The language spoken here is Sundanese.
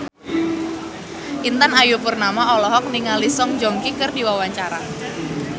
Intan Ayu Purnama olohok ningali Song Joong Ki keur diwawancara